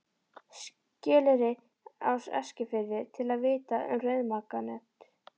Skeleyri á Eskifirði, til að vitja um rauðmaganet.